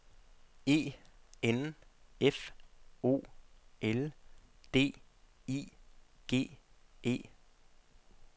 E N F O L D I G E